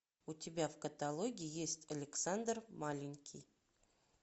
у тебя в каталоге есть александр маленький